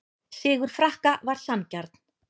Sigur Frakka var sanngjarn